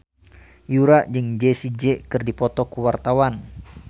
Yura jeung Jessie J keur dipoto ku wartawan